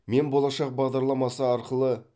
мен болашақ бағдарламасы арқылы